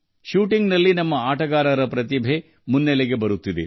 shooting ನಲ್ಲಿ ನಮ್ಮ ಆಟಗಾರರ ಪ್ರತಿಭೆ ಬೆಳಕಿಗೆ ಬರುತ್ತಿದೆ